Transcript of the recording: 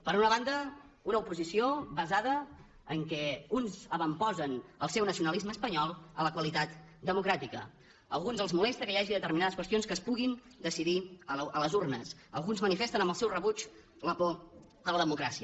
per una banda una oposició basada en el fet que uns avantposen el seu nacionalisme espanyol a la qualitat democràtica a alguns els molesta que hi hagi determinades qüestions que es puguin decidir a les urnes alguns manifesten amb el seu rebuig la por a la democràcia